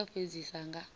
ndivho ya u fhedzisa nga